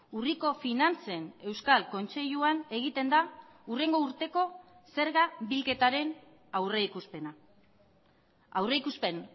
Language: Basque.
urriko finantzen euskal kontseiluan egiten da hurrengo urteko zerga bilketaren aurrikuspena aurrikuspen